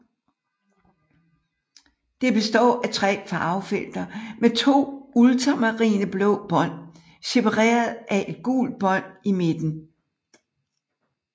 Det består af tre farvefelter med to ultramarineblå bånd separeret af et gult bånd i midten